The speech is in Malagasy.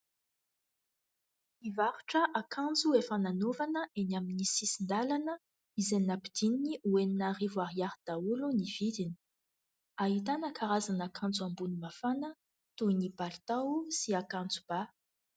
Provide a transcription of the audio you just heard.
Mpivarotra akanjo efa nanaovana eny amin'ny sisin-dalana, izay nampidininy ho enina arivo ariary daholo ny vidiny. Ahitana karazana akanjo ambony mafana toy ny palitao sy akanjo ba.